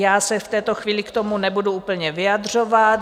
Já se v této chvíli k tomu nebudu úplně vyjadřovat.